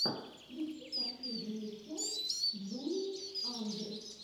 включи последнюю часть джулии андр